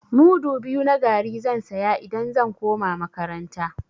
Mudu biyu na garri zan saya idan zan koma makaranta.